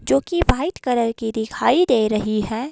जो की white colour की दिखाई दे रही है।